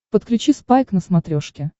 подключи спайк на смотрешке